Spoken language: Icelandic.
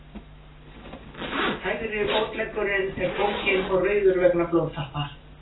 Hægri fótleggurinn er bólginn og rauður vegna blóðtappa.